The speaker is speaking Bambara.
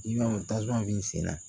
I b'a fɔ tasuma b'i sen na